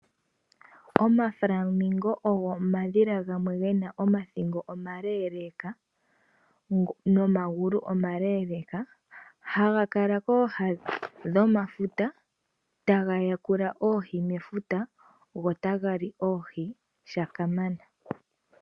Omaflamingo ogo omadhila gamwe gena omathingo omaleeleeka nomagulu omaleeleeka. Haga kala kooha dhomafuta taga yakula oohi mefuta go taga li oohi shakamana.